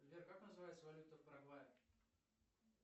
сбер как называется валюта в парагвае